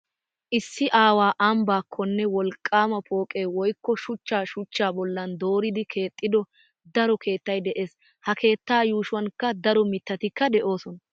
Issi awa ambbaakkonne wolqqaama pooqe woykko shuchcha shuchchaa bollan dooridi keexxido daro keettay de'ees. Ha keettaa yuushuwankka daro mittatikka de'oosona.